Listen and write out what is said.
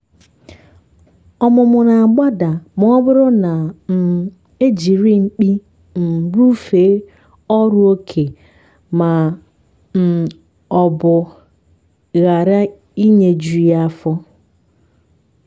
ọmụmụ na-agbada ma ọ bụrụ na um ejiri mkpi um rufe ọrụ oké ma um ọ bụ ghara nyeju ya afọ.